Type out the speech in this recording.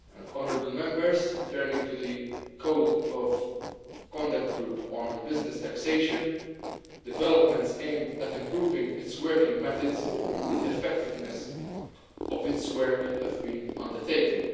Honourable Members, turning to the Code of Conduct Group on business taxation, developments aimed at improving its working methods and effectiveness have been undertaken.